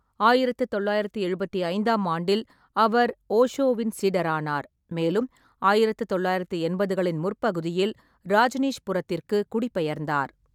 ஆயிரத்து தொள்ளாயிரத்து எழுபத்தி ஐந்தாம் ஆண்டில், அவர் ஓஷோவின் சீடரானார், மேலும் ஆயிரத்து தொள்ளாயிரத்து எண்பதுகளின் முற்பகுதியில், ராஜ்னீஷ்புரத்திற்கு குடிபெயர்ந்தார்.